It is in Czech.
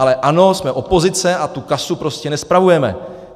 Ale ano, jsme opozice a tu kasu prostě nespravujeme.